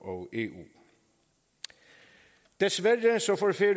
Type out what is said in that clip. og eu desværre